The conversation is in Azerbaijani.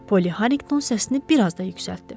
Poly Harinqton səsini bir az da yüksəltdi.